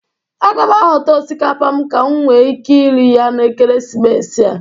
Aga m ahọta osikapa m ka m nwe ike ire ya na ekeresimesi a.